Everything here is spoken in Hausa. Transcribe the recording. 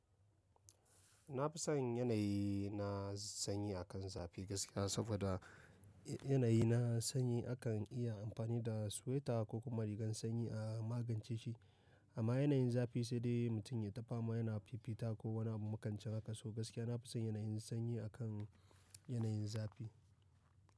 Na fi son yanayi na sanyi a kan zafi gaskiya, saboda yanayi na sanyi akan iya amfani da sweta ko kuma rigar sanyi a magance shi. Amma yanayin zafi sai dai mutum yayi ta fa ma yana fifita ko wani makancin haka. So gaskiya na fi son yanayin sanyi a kan yanayin zafi.